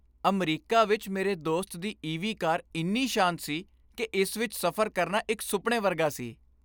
America ਵਿੱਚ ਮੇਰੇ ਦੋਸਤ ਦੀ ਈਵੀ ਕਾਰ ਇੰਨੀ ਸ਼ਾਂਤ ਸੀ ਕਿ ਇਸ ਵਿੱਚ ਸਫ਼ਰ ਕਰਨਾ ਇੱਕ ਸੁਪਨੇ ਵਰਗਾ ਸੀ।